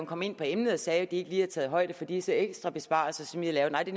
kom ind på emnet og sagde at de ikke taget højde for disse ekstra besparelser som vi har lavet nej det